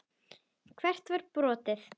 Hvert var brotið?